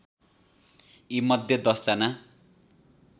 यीमध्ये १० जना